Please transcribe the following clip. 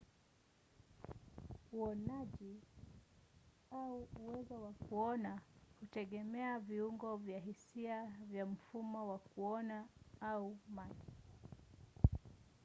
uonaji au uwezo wa kuona hutegemea viungo vya hisia vya mfumo wa kuona au macho